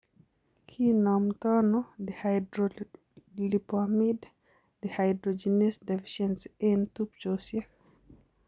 Kinomtoono dihydrolipoamide dehydrogenease deficiency eng' tubchosiek?